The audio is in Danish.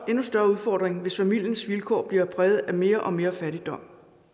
og endnu større udfordring hvis familiens vilkår bliver præget af mere og mere fattigdom